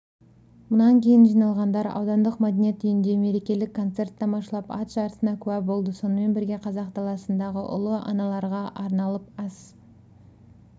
мұнан кейін жиналғандар аудандық мәдениет үйінде мерекелік концерт тамашалап ат жарысына куә болды сонымен бірге қазақ даласындағы ұлы аналарға арналып ас